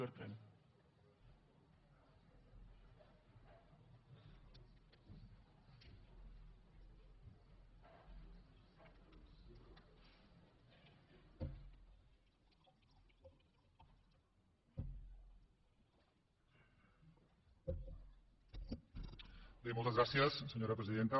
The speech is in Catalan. bé moltes gràcies senyora presidenta